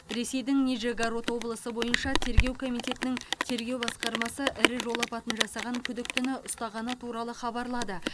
ресейдің нижегород облысы бойынша тергеу комитетінің тергеу басқармасы ірі жол апатын жасаған күдіктіні ұстағаны туралы хабарлады